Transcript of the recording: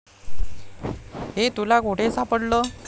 हे तुला कुठे सापडलं?